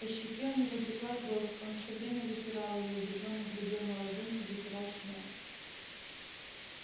по щеке у него текла кровь он всё время вытирал её удивлённо глядел на ладонь и вытирал снова